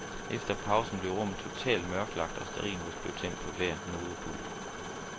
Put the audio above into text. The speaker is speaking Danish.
Efter pausen blev rummet totalt mørklagt, og stearinlys blev tændt på hver nodepult.